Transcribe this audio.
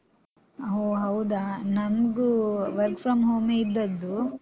ಹೋ, ಹೌದಾ? ನಮ್ಗು work from home ಇದ್ದದ್ದು.